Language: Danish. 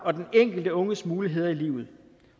og den enkelte unges muligheder i livet